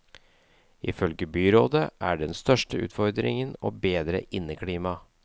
Ifølge byrådet er den største utfordringen å bedre inneklimaet.